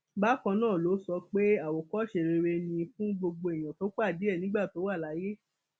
bákan náà ló sọ pé àwòkọṣe rere ni fún gbogbo èèyàn tó pàdé ẹ nígbà tó wà láyé